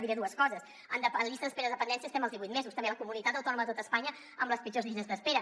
diré dues coses en llista d’espera de dependència estem als divuit mesos també la comunitat autònoma de tot espanya amb les pitjors llistes d’espera